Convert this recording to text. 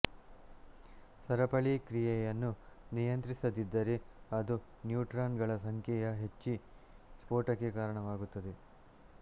ಸರಪಳಿ ಕ್ರಿಯೆಯನ್ನು ನಿಯಂತ್ರಿಸದಿದ್ದರೆ ಅದು ನ್ಯೂಟ್ರಾನ್ ಗಳ ಸಂಖ್ಯೆಯಹೆಚ್ಚಿ ಸ್ಫೋಟಕ್ಕೆ ಕಾರಣವಾಗುತ್ತದೆ